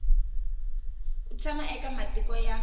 u tshama eka matiko ya